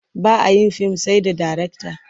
Ba a yin fim sai da darekta.